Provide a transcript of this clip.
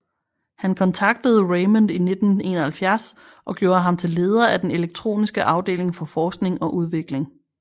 Han kontaktede Raymond i 1971 og gjorde ham til leder af den elektroniske afdeling for forskning og udvikling